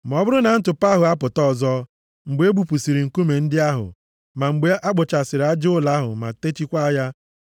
“Ma ọ bụrụ na ntụpọ ahụ apụta ọzọ, mgbe e bupụsịrị nkume ndị ahụ, ma mgbe a kpuchasịrị aja ụlọ ma techikwaa ya,